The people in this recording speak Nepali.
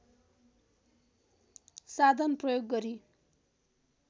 साधन प्रयोग गरी